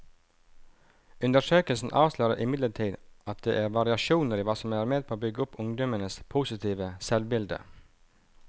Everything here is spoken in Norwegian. Undersøkelsen avslører imidlertid at det er variasjoner i hva som er med på å bygge opp ungdommenes positive selvbilde.